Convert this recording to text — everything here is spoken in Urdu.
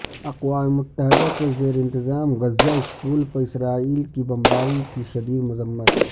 اقوام متحدہ کے زیر انتظام غزہ اسکول پر اسرائیل کی بمباری کی شدید مذمت